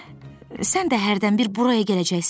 sən də hərdən bir buraya gələcəksənmi?